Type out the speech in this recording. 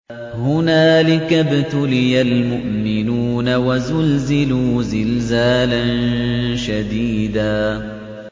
هُنَالِكَ ابْتُلِيَ الْمُؤْمِنُونَ وَزُلْزِلُوا زِلْزَالًا شَدِيدًا